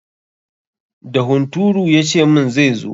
Da hunturu ya ce min zai zo.